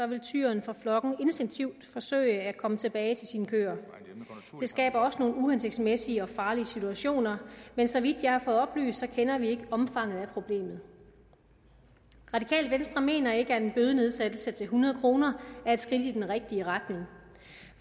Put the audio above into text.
vil tyren fra flokken instinktivt forsøge at komme tilbage til sine køer det skaber også nogle uhensigtsmæssige og farlige situationer men så vidt jeg har fået oplyst kender vi ikke omfanget af problemet radikale venstre mener ikke at en bødenedsættelse til hundrede kroner er et skridt i den rigtige retning